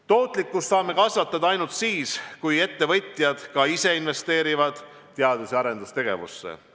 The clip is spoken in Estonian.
Tootlikkust saame kasvatada ainult siis, kui ettevõtjad ka ise investeerivad teadus- ja arendustegevusse.